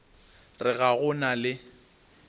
re ga go na le